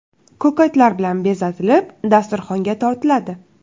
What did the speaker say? Ko‘katlar bilan bezatilib, dasturxonga tortiladi.